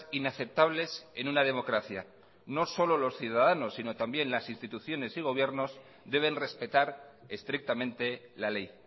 inaceptables en una democracia no solo los ciudadanos sino también las instituciones y gobiernos deben respetar estrictamente la ley